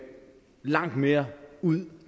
langt mere ud og